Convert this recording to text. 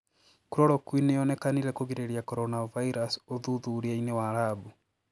"Chloroquine niyonĩkanire kugiriria coronavirus ũthuthuriainĩ wa labu.